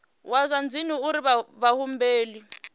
wa zwa dzinnu uri vhahumbeli